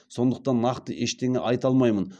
сондықтан нақты ештеңе айта алмаймын